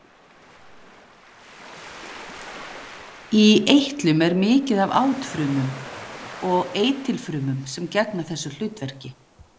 Í eitlum er mikið af átfrumum og eitilfrumum sem gegna þessu hlutverki.